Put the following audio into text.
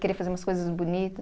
Queria fazer umas coisas bonita.